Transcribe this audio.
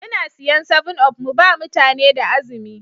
Muna siyan 7up mu ba mutane da azumi.